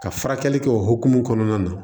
Ka furakɛli kɛ o hokumu kɔnɔna na